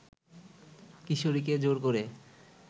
কিশোরীকে জোর করে